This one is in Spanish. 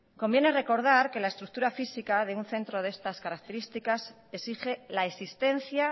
conviene recordar que la estructura física de un centro de estas características exige la existencia